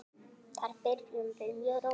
Þar byrjum við mjög rólega.